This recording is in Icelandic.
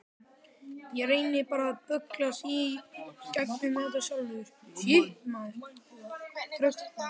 Ég reyni bara að bögglast í gegnum þetta sjálfur.